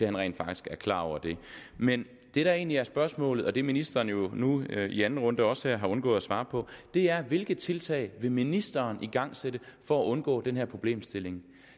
han rent faktisk er klar over det men det der egentlig er spørgsmålet og det ministeren nu her i anden runde også har undgået at svare på er hvilke tiltag vil ministeren igangsætte for at undgå den her problemstilling